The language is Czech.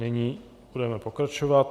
Nyní budeme pokračovat.